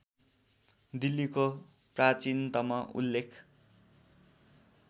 दिल्लीको प्राचीनतम उल्लेख